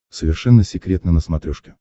совершенно секретно на смотрешке